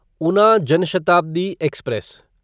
Una Jan Shatabdi express